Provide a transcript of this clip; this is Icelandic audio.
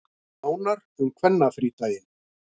Nánar um kvennafrídaginn